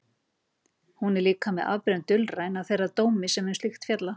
Hún er líka með afbrigðum dulræn, að þeirra dómi sem um slíkt fjalla.